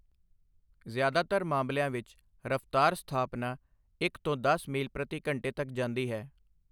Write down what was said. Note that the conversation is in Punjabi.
ਜ਼ਿਆਦਾਤਰ ਮਾਮਲਿਆਂ ਵਿੱਚ, ਰਫ਼ਤਾਰ ਸਥਾਪਨਾ ਇਕ ਤੋਂ ਦਸ ਮੀਲ ਪ੍ਰਤੀ ਘੰਟੇ ਤੱਕ ਜਾਂਦੀ ਹੈ।